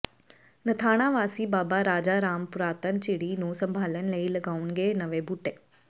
ਨਥਾਣਾ ਵਾਸੀ ਬਾਬਾ ਰਾਜਾ ਰਾਮ ਪੁਰਾਤਨ ਝਿੜੀ ਨੂੰ ਸੰਭਾਲਣ ਲਈ ਲਗਾਉਣਗੇ ਨਵੇਂ ਬੂਟੇ